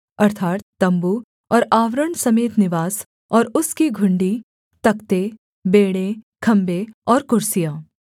अर्थात् तम्बू और आवरण समेत निवास और उसकी घुंडी तख्ते बेंड़े खम्भे और कुर्सियाँ